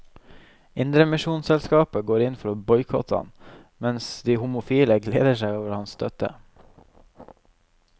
Indremisjonsselskapet går inn for å boikotte ham, mens de homofile gleder seg over hans støtte.